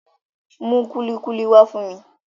Mú kúlíkúlí wá fún mi